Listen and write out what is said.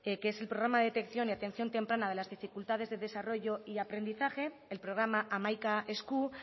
que es el programa de detección y atención temprana de las dificultades de desarrollo y aprendizaje el programa hamaika esku